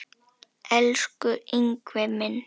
Elsku Ingvi minn.